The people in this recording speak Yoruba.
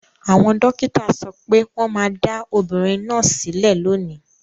Àwọn dókítà sọ pé wọ́n máa dá obìnrin náà sílẹ̀ lónìí.